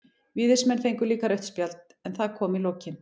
Víðismenn fengu líka rautt spjald, en það kom í lokin.